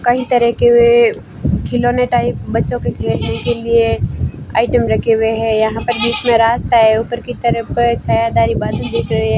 कई तरह के वे खिलौने टाइप बच्चों के खेलने के लिए आइटम रखे हुए हैं यहां पर बीच में रास्ता है ऊपर की तरफ पर छायादारी बादल दिख रहे हैं।